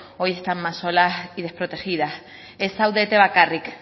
hoy están más solas y desprotegidas ez zaudete bakarrik